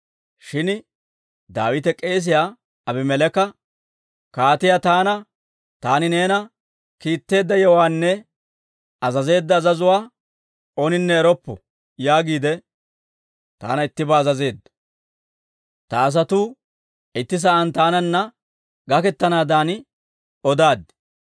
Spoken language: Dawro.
Shin Daawite k'eesiyaa Abimeleeka, «Kaatii taana, ‹Taani neena kiitteedda yewuwaanne azazeedda azazuwaa ooninne eroppo› yaagiide taana ittibaa azazeedda. Ta asatuu itti sa'aan taananna gakettanaadan odaad.